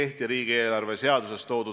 On see haigete arv või miski muu?